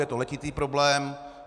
Je to letitý problém.